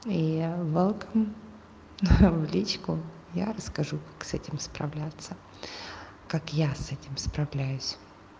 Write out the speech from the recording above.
и велком в личку я расскажу как с этим справляться как я с этим справляюсь